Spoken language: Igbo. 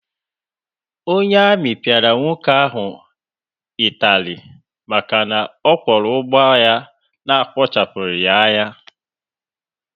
Onye amị piara nwoke ahụ itari màkà ọ Kworo ụgbọ ya na-skachapughi anya.